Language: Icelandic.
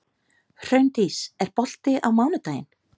Hraundís, er bolti á mánudaginn?